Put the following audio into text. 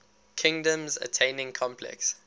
kingdoms attaining complex